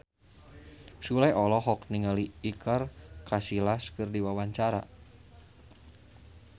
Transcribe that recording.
Sule olohok ningali Iker Casillas keur diwawancara